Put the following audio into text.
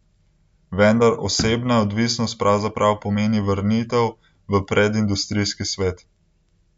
Vendar osebna odvisnost pravzaprav pomeni vrnitev v predindustrijski svet.